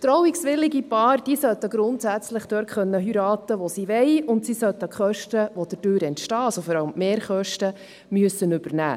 Trauungswillige Paaren sollten grundsätzlich dort heiraten können, wo sie wollen, und sie sollten die Kosten, die dadurch entstehen, also vor allem die Mehrkosten, übernehmen.